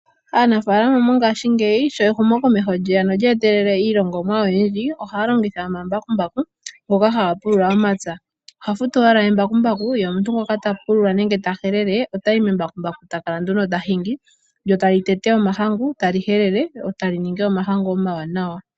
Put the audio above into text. Aanafaalama mongaashingeyi sho ehumokomeho lyeya nolye etelela iilongomwa oyindji. Ohaya longitha omambakumbaku ngoka haga pulula omapya . Oha futu owala embakumbaku ye omuntu ngoka ta pulula nenge ta helele ye otayi membakumbaku . Etakala nduno ta hingi lyo tali tete omahangu tali helele lyo tali ningi omahangu omawanawa.